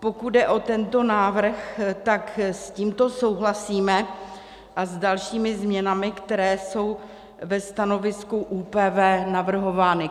Pokud jde o tento návrh, tak s ním souhlasíme, a s dalšími změnami, které jsou ve stanovisku ÚPV navrhovány.